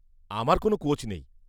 -আমার কোনও কোচ নেই।